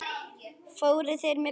Fóru þeir með Bibba?